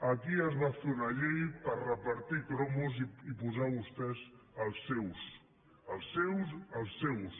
aquí es va fer una llei per repartir cromos i posar vostès els seus els seus els seus